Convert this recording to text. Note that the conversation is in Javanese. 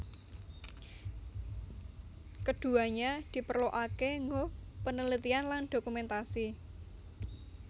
Keduanya diperluake nggo penelitian lan dokumentasi